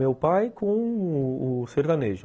Meu pai com o o sertanejo.